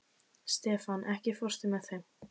Stefan, ekki fórstu með þeim?